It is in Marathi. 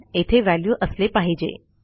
येथे व्हॅल्यू असले पाहिजे